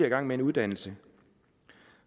i gang med en uddannelse